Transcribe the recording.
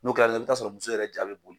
N'o kɛra la i bɛt'a sɔrɔ muso yɛrɛ ja bɛ boli